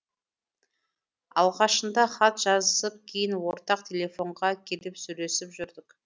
алғашында хат жазысып кейін ортақ телефонға келіп сөйлесіп жүрдік